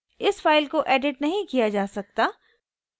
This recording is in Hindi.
इस फाइल को एडिट नहीं किया जा सकता